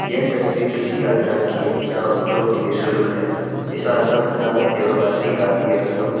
यह तस्वीर किसी आश्रम की है जहां जो कि निशुल्क है इस आश्रम का नाम है सेवा भारती गांधी आश्रम।